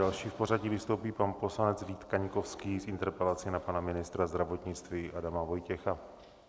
Další v pořadí vystoupí pan poslanec Vít Kaňkovský s interpelací na pana ministra zdravotnictví Adama Vojtěcha.